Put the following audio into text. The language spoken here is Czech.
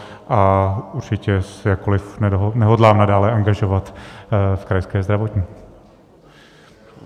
A určitě se jakkoliv nehodlám nadále angažovat v Krajské zdravotní.